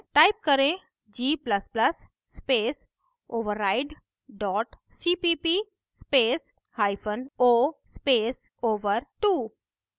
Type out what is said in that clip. type करें g ++ space override dot cpp space hyphen o space over2